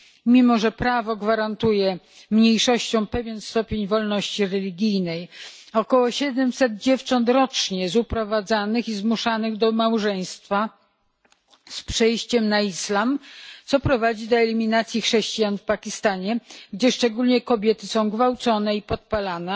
Mimo że prawo gwarantuje mniejszościom pewien stopień wolności religijnej, około 700 dziewcząt rocznie zostaje uprowadzonych i zmuszonych do małżeństwa oraz do przejścia na islam, co prowadzi do eliminacji chrześcijan w Pakistanie, gdzie szczególnie kobiety są gwałcone i podpalane.